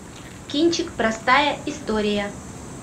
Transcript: кинчик простая история